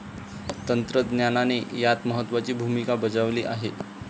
तंत्रज्ञानाने यात महत्वाची भूमिका बजावली आहे.